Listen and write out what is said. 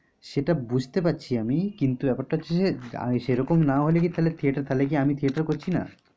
সেটা বুঝতে পারছি আমি কিন্তু ব্যাপারটা হচ্ছে যে সে রকম না হলে কি তাহলে আমি theater করছি না?